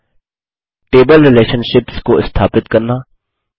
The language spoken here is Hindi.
टेबल रिलेशनशिप्स रिलेशनशिप्स को स्थापित करना